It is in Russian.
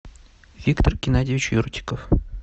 виктор геннадьевич юрчиков